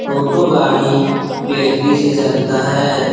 टोटो गाड़ी बैटरी से चलता है।